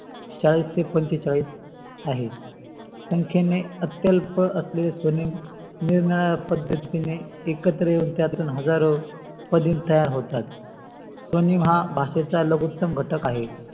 चाळीस ते पंचेचाळीस आहे संखेने अत्यल्प असलेले स्वनेम निरनिराळय पद्धतीने एकत्र येऊन त्यतून हजारो स्वनेम तयार होतात. स्वनेम हा भाषेचा लघुतम घटक आहे.